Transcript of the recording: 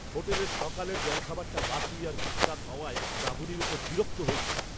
হোটেলের সকালের জলখাবারটা বাসি আর বিস্বাদ হওয়ায় রাঁধুনীর ওপর বিরক্ত হয়েছিলাম।